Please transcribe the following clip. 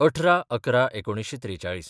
१८/११/१९४३